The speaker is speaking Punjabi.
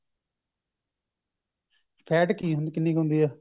fat ਕਿ ਕਿੰਨੀ ਹੁੰਦੀ ਹੈ